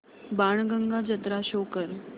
बाणगंगा जत्रा शो कर